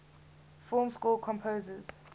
film score composers